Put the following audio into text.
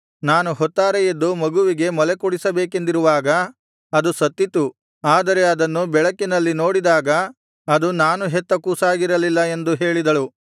ನಾನು ಹೊತ್ತಾರೆ ಎದ್ದು ಮಗುವಿಗೆ ಮೊಲೆಕುಡಿಸಬೇಕೆಂದಿರುವಾಗ ಅದು ಸತ್ತಿತ್ತು ಆದರೆ ಅದನ್ನು ಬೆಳಕಿನಲ್ಲಿ ನೋಡಿದಾಗ ಅದು ನಾನು ಹೆತ್ತ ಕೂಸಾಗಿರಲಿಲ್ಲ ಎಂದು ಹೇಳಿದಳು